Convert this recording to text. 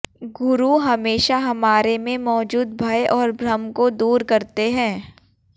गुरु हमेशा हमारे में मौजूद भय और भ्रम को दूर करते हैं